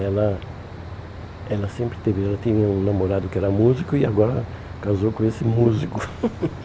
Ela ela sempre teve ela teve um namorado que era músico e agora casou com esse músico.